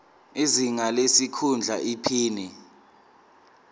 izinga lesikhundla iphini